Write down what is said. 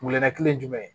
Glɛnna kelen ye jumɛn ye